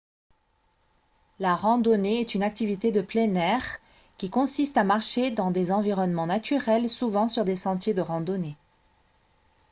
la randonnée est une activité de plein air qui consiste à marcher dans des environnements naturels souvent sur des sentiers de randonnée